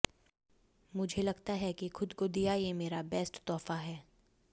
मुझे लगता है कि खुद को दिया ये मेरा बेस्ट तोहफा है